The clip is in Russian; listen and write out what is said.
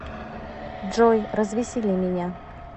джой развесели меня